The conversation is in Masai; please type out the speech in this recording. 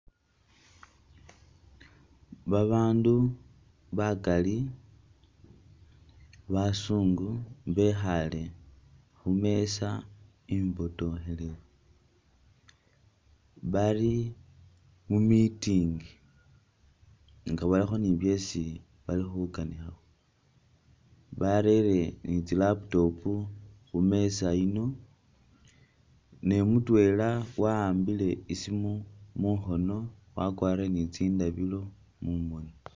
Babandu bakaali basungu bekhaale khumeeza imbotokhelefu bali mu meeting nga balikho ne byesi bali khukanikhakho barele ne tsi laptop khumeeza iyino ne mutwela waambile isiimu mukhono wakwarire ne tsindabilo mumoni.